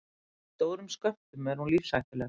Í stórum skömmtum er hún lífshættuleg.